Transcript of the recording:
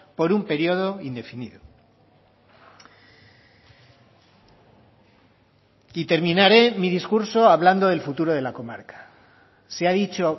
por un periodo indefinido y terminaré mi discurso hablando del futuro de la comarca se ha dicho